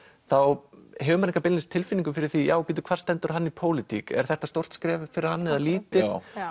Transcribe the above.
þá hefur enga beinlínis tilfinningu fyrir því já hvar stendur hann í pólitík er þetta stórt skref fyrir hann eða lítið